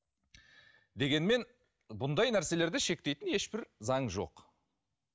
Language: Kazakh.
дегенмен бұндай нәрселерді шектейтін ешбір заң жоқ